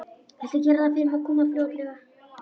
Viltu gera það fyrir mig að koma fljótlega?